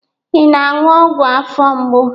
Ị na-aṅụ ọgwụ afọ mgbu?